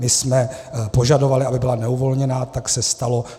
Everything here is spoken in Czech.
My jsme požadovali, aby byla neuvolněná, tak se stalo.